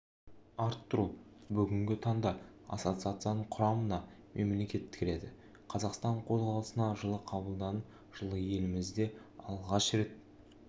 арттыру бүгінгі таңда ассоциацияның құрамына мемлекет кіреді қазақстан қозғалысына жылы қабылданып жылы елімізде алғаш рет